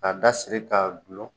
Ka da siri k'a dulon.